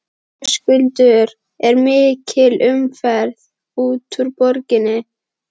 Höskuldur er mikil umferð út úr borginni?